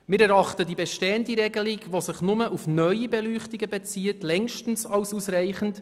Wir erachten die bestehende Regelung, die sich nur auf neue Beleuchtungen bezieht, als längst ausreichend.